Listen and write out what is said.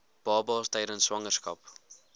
babas tydens swangerskap